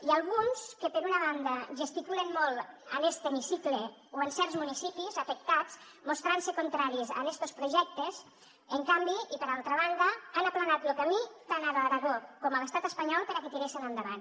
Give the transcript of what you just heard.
i alguns que per una banda gesticulen molt en este hemicicle o en certs municipis afectats mostrant se contraris a estos projectes en canvi i per altra banda han aplanat lo camí tant a l’aragó com a l’estat espanyol perquè tiressen endavant